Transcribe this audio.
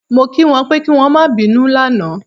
Mo kí wọn pé kí wọn ó má bínú lánàá